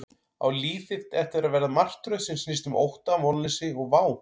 Á líf þitt eftir að verða martröð sem snýst um ótta, vonleysi og vá?